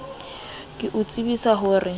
ke o tsibisa ho re